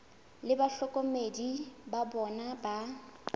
le bahlokomedi ba bona ba